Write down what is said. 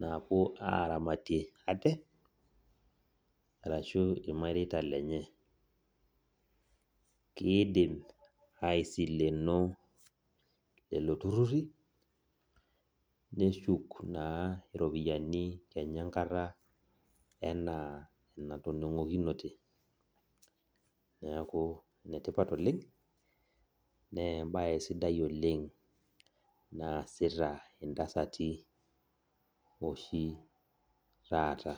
napuo aramatie ate atashu irmareita lenye kidim aisileno lolotururi neshuk na ropiyani enkata natoningunote neaku enetipat oleng na embae sidai oleng naasita ntasati oshi taata.